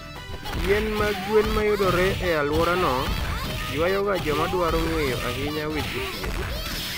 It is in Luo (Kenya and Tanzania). Yien mag gwen mayudore e alworano, ywayoga joma dwaro ng'eyo ahinya weche thieth.